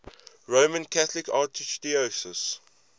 roman catholic archdiocese